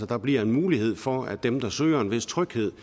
der bliver mulighed for at dem der søger en vis tryghed